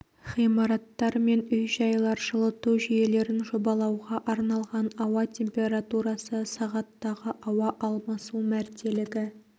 ғимараттар мен үй-жайлар жылыту жүйелерін жобалауға арналған ауа температурасы сағаттағы ауа алмасу мәртелігі